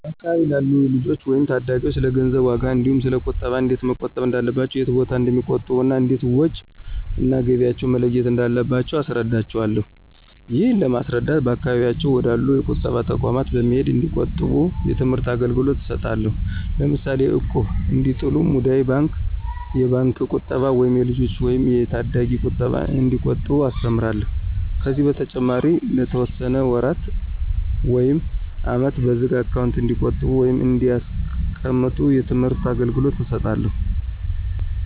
በአካባቢው ላሉ ልጆች ወይም ታዳጊዎች ስለገንዘብ ዋጋ እንዲሁ ስለ ቁጠባ እንዴት መቆጠብ እንዳለባቸው የት ቦታ እንደሚቆጥቡ እና እንዴት ወጭ እና ገቢያቸውን መለየት እንዳለባቸው አስረዳቸውአለሁ። ይህንን ለማስረዳት በአካባቢያቸው ወደ አሉ የቁጠባ ተቋማት በመሄድ እንዲቆጥቡ የትምህርት አገልግሎት እሰጣለሁ። ለምሳሌ እቁብ እንዲጥሉ፣ ሙዳይ ባንክ፣ የባንክ ቁጠባ ወይም የልጆች ወይም የታዳጊዎች ቁጠባ እንዲቆጥቡ አስተምራለሁ። ከዚህ በተጨማሪ ለተወሰነ ወራት ውይም አመት በዝግ አካውንት እንዲቆጥቡ ወይም እንዲያስቀምጡ የትምህርት አገልገሎት እሰጣለሁ።